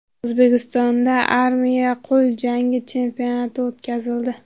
O‘zbekistonda armiya qo‘l jangi chempionati o‘tkazildi.